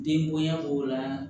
Den bonya b'o la